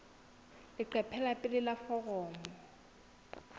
leqephe la pele la foromo